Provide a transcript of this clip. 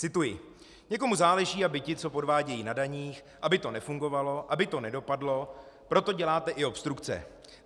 Cituji: "Někomu záleží, aby ti, co podvádějí na daních, aby to nefungovalo, aby to nedopadlo, proto děláte i obstrukce.